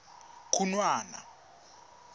khunwana